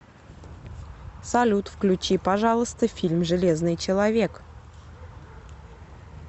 салют включи пожалуйста фильм железный человек